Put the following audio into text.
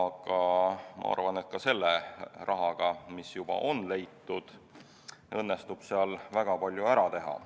Aga ma arvan, et ka selle rahaga, mis juba on leitud, õnnestub seal väga palju ära teha.